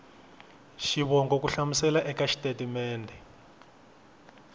xivongo ku hlamusela eka xitatimede